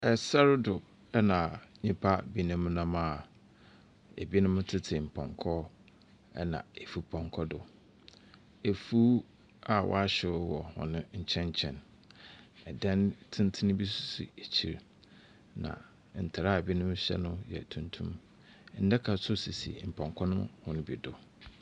Ɛsɛr do na nyimpa binom nam a binom tsetse mpɔnkɔ do, na efupɔnkɔ do. Efuw a wɔahyew wɔ hɔn nkyɛn nkyɛn. Dan tsensten bi nso si ekyir, na ntar a binom hyɛ no yɛ tuntum. Ndaka nso sisi mpɔnkɔ no hɔn bi do.